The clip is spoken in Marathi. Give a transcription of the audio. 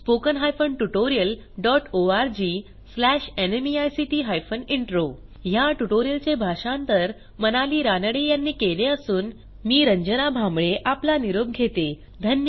spoken hyphen tutorial dot ORG slash NMEICT hyphen intro ह्या ट्युटोरियलचे भाषांतर मनाली रानडे यांनी केले असून मी रंजना भांबळे आपला निरोप घेते160